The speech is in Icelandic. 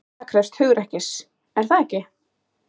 Það krefst hugrekkis, er það ekki?